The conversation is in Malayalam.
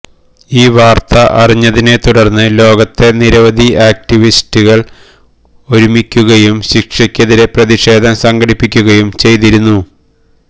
ഈ വാര്ത്ത അറിഞ്ഞതിനെത്തുടര്ന്ന് ലോകത്തെ നിരവധി ആക്ടിവിസ്റ്റുകള് ഒരുമിക്കുകയും ശിക്ഷയ്ക്കെതിരെ പ്രതിഷേധം സങ്കടിപ്പിക്കുകയും ചെയ്തിരുന്നു